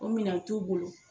O minan t'u bolo.